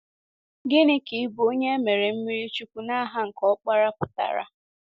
Gịnị ka ịbụ onye e mere mmiri chukwu ‘n’aha nke Ọkpara’ pụtara?